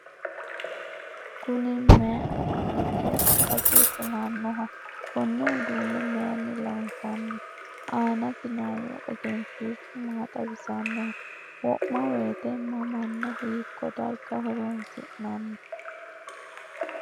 Kunni mayi uduunnicho ikasi kulanoho? Konne uduune mayinni loonsanni? Aannasi noohu egenshishu maa xawisannoho? Wo'ma woyite mamanna hiiko darga horoonsi'nanni?